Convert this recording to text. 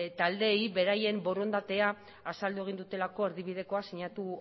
taldeei beraien borondatea azaldu egin dutelako erdibidekoa sinatu